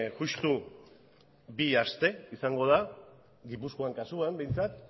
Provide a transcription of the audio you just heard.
justu bi aste izango da gipuzkoan kasuan behintzat